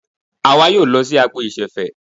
Àwa yóò lọ sí agbo ìṣẹ̀fẹ̀.